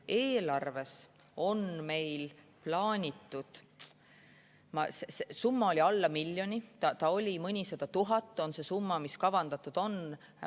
Eelarves on meil plaanitud summa alla miljoni, see on mõnisada tuhat, see summa, mis kavandatud on.